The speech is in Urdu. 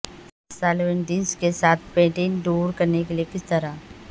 سالوینٹس کے ساتھ پٹین دور کرنے کے لئے کس طرح